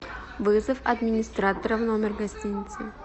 вызов администратора в номер гостиницы